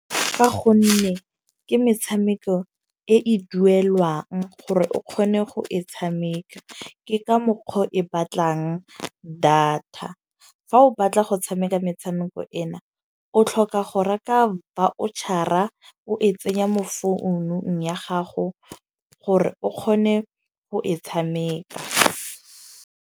Fa gonne ke metshameko e e duelwang gore o kgone go e tshameka. Ke ka mokgwa o e batlang data. Fa o batla go tshameka metshameko ena, o tlhoka go reka voucher-a o e tsenya mo founung ya gago gore o kgone go e tshameka.